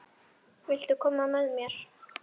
Viltu koma með mér?